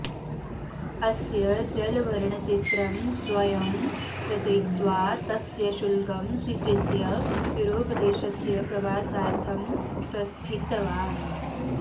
अस्य जलवर्णचित्रं स्वयं रचयित्वा तस्य शुल्कं स्वीकृत्य यूरोपदेशस्य प्रवासार्थं प्रस्थितवान्